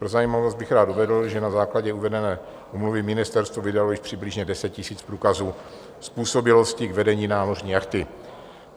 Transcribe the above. Pro zajímavost bych rád uvedl, že na základě uvedené úmluvy ministerstvo vydalo již přibližně 10 000 průkazů způsobilosti k vedení námořní jachty.